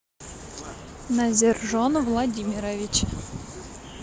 назиржон владимирович